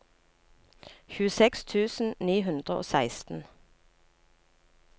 tjueseks tusen ni hundre og seksten